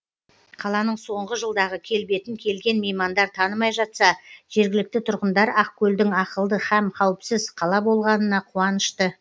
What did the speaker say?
қаланың соңғы жылдағы келбетін келген меймандар танымай жатса жергілікті тұрғындар ақкөлдің ақылды һәм қауіпсіз қала болғанына қуанышты